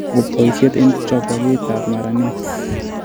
Poisyet eng' choboge ap maranet